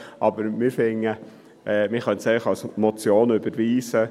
Aber wir sind der Meinung, man könnte es eigentlich als Motion überweisen.